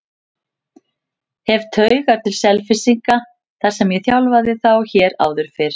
Hef taugar til Selfyssinga þar sem ég þjálfaði þá hér áður fyrr.